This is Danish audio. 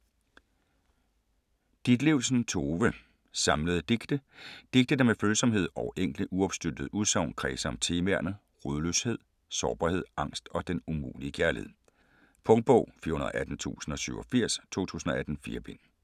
Ditlevsen, Tove: Samlede digte Digte der med følsomhed og enkle uopstyltede udsagn kredser om temaerne: rodløshed, sårbarhed, angst og den umulige kærlighed. Punktbog 418087 2018. 4 bind.